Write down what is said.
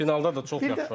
Finalda da çox yaxşı oynadı.